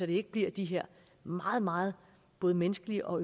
det ikke bliver de her meget meget både menneskeligt og